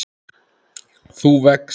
þú vex.